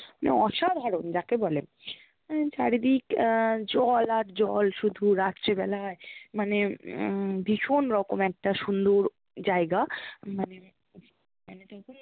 মানে অসাধারণ যাকে বলে, চারিদিক আহ জল আর জল শুধু রাত্রি বেলায় মানে আহ ভীষণ রকম একটা সুন্দর জায়গা মানে, মানে যখন